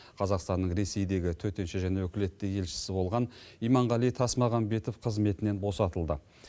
қазақстанның ресейдегі төтенше және өкілетті елшісі болған иманғали тасмағамбетов қызметінен босатылды